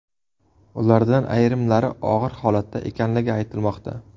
Ulardan ayrimlari og‘ir holatda ekanligi aytilmoqda.